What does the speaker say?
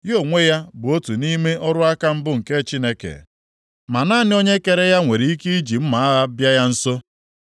Ya onwe ya bụ otu nʼime ọrụ aka mbụ nke Chineke, ma naanị onye kere ya nwere ike iji mma agha bịa ya nso.